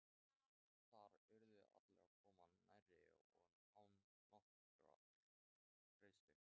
Þar urðu allir að koma nærri og án nokkurrar greiðslu.